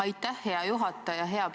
Aitäh, hea juhataja!